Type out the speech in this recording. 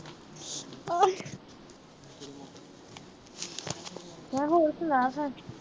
ਮੈਂ ਕਿਹਾ ਹੋਰ ਸੁਣਾ ਫਿਰ।